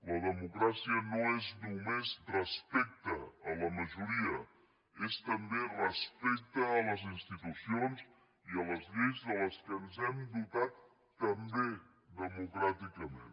la democràcia no és només respecte a la majoria és també respecte a les institucions i a lleis de les quals ens hem dotat també democràticament